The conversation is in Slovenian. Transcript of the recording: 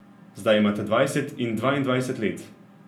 Zdaj imata dvajset in dvaindvajset let.